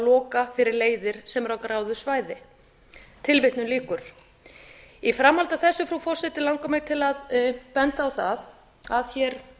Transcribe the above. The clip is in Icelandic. loka fyrir leiðir sem eru á gráu svæði í framhaldi af þessu frú forseti langar mig til að benda á það að hér